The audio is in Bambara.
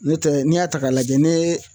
N'o tɛ n'i y'a ta k'a lajɛ ne